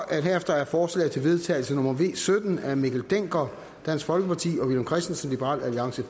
at forslag til vedtagelse nummer v sytten af mikkel dencker og villum christensen er